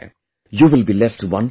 You will be left wonderstruck